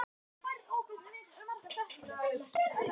Oddveig, hvenær kemur leið númer átján?